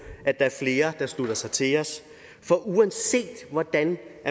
at der er flere der slutter sig til os for uanset hvordan